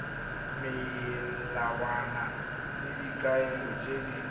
melawana le dikaelo tse di